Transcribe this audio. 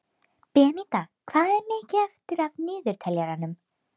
Beníta, hvað er mikið eftir af niðurteljaranum?